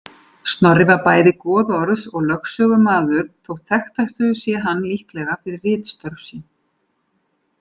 Snorri var bæði goðorðs- og lögsögumaður þótt þekktastur sé hann líklega fyrir ritstörf sín.